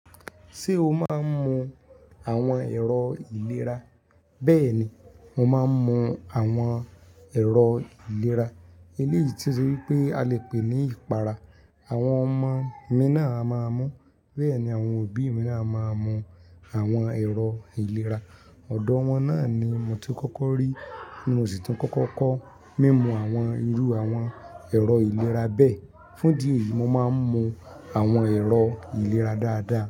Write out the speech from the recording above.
Ṣé o máa ń mọ àwọn èrò ìlera? Bẹ́ẹ̀ni, mo máa ń mu àwọn èrò ìlera. Eléyìí tí ó ṣe wípé a lè pè ní ìpara. Àwọn ọmọ mi náà a máa mu, bẹ́ẹ̀ ni àwọn òbí mi náà máa mu àwọn èrò ìlera. Ọ̀dọ̀ wọn náà ni mo ti kọ́kọ́ rí ní mo ṣì tun kọ́kọ́ kọ́. Mí mú àwọn irú àwọn èrò ìlera bẹ́ẹ̀. Fún ídì eyi, mo máa ń mu àwọn èrò ìlera dáadáa.